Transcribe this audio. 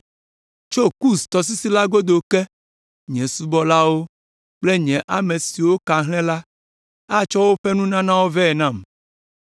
Tso Kus tɔsisi la godo ke, nye subɔlawo kple nye ame siwo ka hlẽ la, atsɔ woƒe nunanawo vɛ nam.